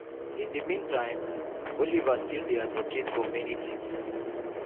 in di meantime oliver still dey advocate for many tins.